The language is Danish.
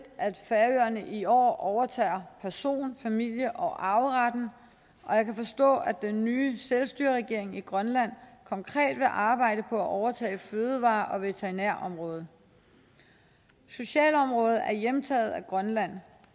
at færøerne i år overtager person familie og arveretten og jeg kan forstå at den nye selvstyreregering i grønland konkret vil arbejde på at overtage fødevare og veterinærområdet socialområdet er hjemtaget af grønland